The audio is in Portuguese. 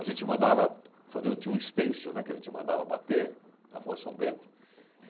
A gente mandava fazer... Eu tinha um estêncil, né, que a gente mandava bater na Rua São Bento.